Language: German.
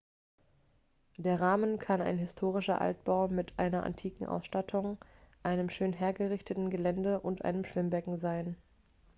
der rahmen kann ein historischer altbau mit einer antiken austattung einem schön hergerichteten gelände und einem schwimmbecken sein